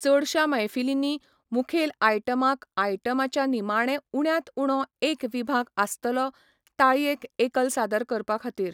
चडशा मैफलींनी मुखेल आयटमाक आयटमाच्या निमाणें उण्यांत उणो एक विभाग आसतलो, ताळयेक एकल सादर करपाखातीर.